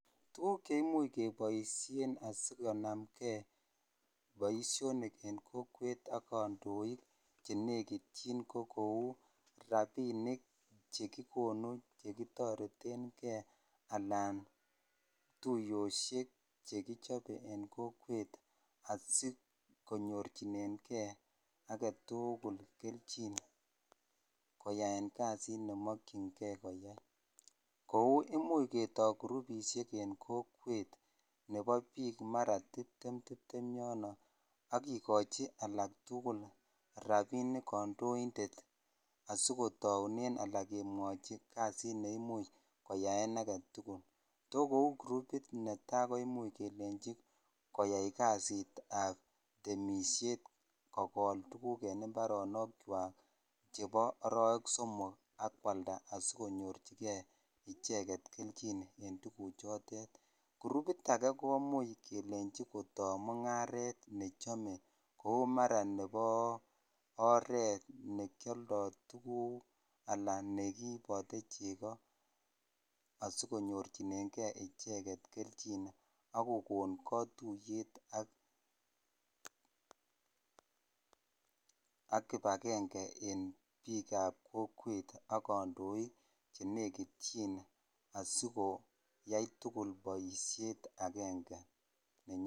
Tuguuk che imuchi kepaishe asikonamgei poishoniik eng' kokweet ak kandoik che nekitchin ko kou rapinik che kikonu che kitareten gei anan tuyoshek che kichope eng' kokweet asikonyorchinenegei age tugul kelchin koyaen kasit ne makchingei koyai. Kou imuchi ketai gurupishek en kokwet ne pa piik mara tiptem tiptem yono akikachi alak tugul rapinik kandoindet asikotaune ala kemwachinkasit neimuch koyaen age tugul. To kou gurupot netai komuchi kelenchi koyai kasitap temishet, kokol tuguk eng' imbarotinwekwak chepo arawek somok ak koalda asikonyorchigei icheget kelchin eng' tuguchotet. Gurupit age komuch kelenchi kotai mung'aret ne chame kou mara nepo oret, ne ki aldai tuguuk anan ne kiipate cheko asikonyorchinen gei icheget kelchin ak kokon katuyet ak kipagenge eng' piik ap kokwet ak kandoik che nekitchin asikoyai tugul poishet agenge